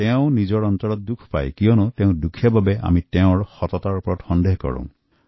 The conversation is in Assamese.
তেওঁৰ অন্তৰত দুখ লাগে যে তেওঁক দুখীয়া বুলি আপুনি তেওঁৰ সততাক সন্দেহ কৰিলে